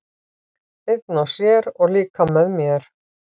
Einn og sér, og líka með mér.